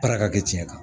Baara ka kɛ tiɲɛ kan